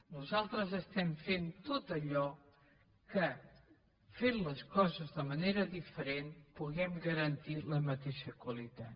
nosaltres estem fent tot allò que fent les coses de manera diferent puguem garantir la mateixa qualitat